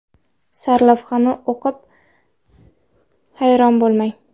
Sarlavhani o‘qib hayron bo‘lmang!